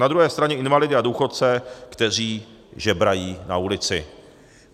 Na druhé straně invalidy a důchodce, kteří žebrají na ulici.